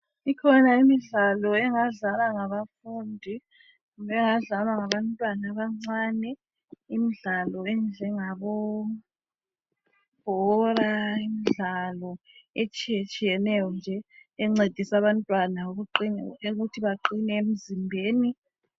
Ikhona imdlalo engadlalwa ngabafundi kumbe engadlalwa ngabantwana abancane. Imdlalo enjengabo bhora imdlalo etshiye tshiyeneyo nje encedisa abantwana ukuthi beqine emzimbeni.